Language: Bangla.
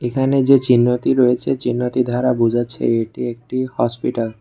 এখানে যে চিহ্নটি রয়েছে চিহ্নটির ধারা বোঝা যাচ্ছে এটি একটি হসপিটাল ।